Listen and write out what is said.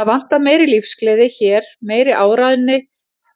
Það vantar meiri lífsgleði hér, meiri áræðni,